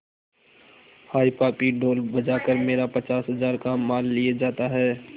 हाय पापी ढोल बजा कर मेरा पचास हजार का माल लिए जाता है